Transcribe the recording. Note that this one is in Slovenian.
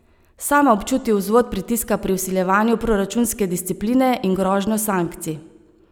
Sama občuti vzvod pritiska pri vsiljevanju proračunske discipline in grožnjo sankcij.